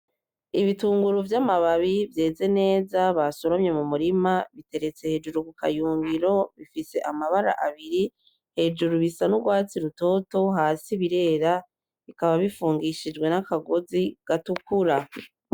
Ibitunguru vy'amababi vyeze neza basoromye mumurima biteretse hejuru kukayungiro bifise amabara abiri hejuru; bisa n'urwatsi rutoto hasi birera bikaba bifungishijwe n'akagozi gatukura.